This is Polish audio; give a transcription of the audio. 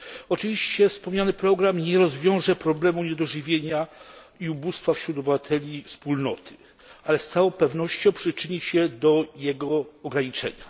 Oczywiście wspomniany program nie rozwiąże problemu niedożywienia i ubóstwa wśród obywateli Wspólnoty, ale z całą pewnością przyczyni się do jego ograniczenia.